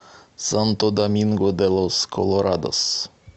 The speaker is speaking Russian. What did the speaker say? санто доминго де лос колорадос